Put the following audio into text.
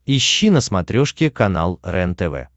ищи на смотрешке канал рентв